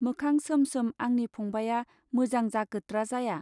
मोखां सोम सोम आंनि फंबाया मोजां जागोत्रा जाया.